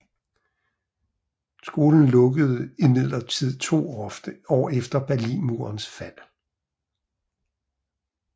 Skolen lukkede imidlertid to år efter Berlinmurens fald